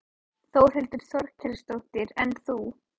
Þórhildur Þorkelsdóttir: En þú?